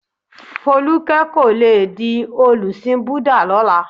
Folúkẹ́ kò le di olùsìn Búdà lọ́la.